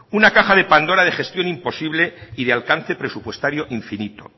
una caja de pandora de gestión imposible y de alcance presupuestario infinito